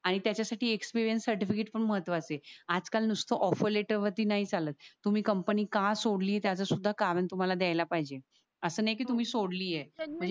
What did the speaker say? आणि त्याच्या साठी एक्सपीरियन्स सर्टिफिकेट पण महत्व च आहे. आज काल नुस्त ऑफर लेटर वरती नाय चालत तुम्ही ती कंपनी का सोडली त्याच सुधा कारण तुम्हाला द्यायला पाहिजे. अस नाय कि तुम्ही सोडली ये